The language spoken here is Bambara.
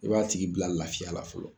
I b'a tigi bila lafiya la fɔlɔ.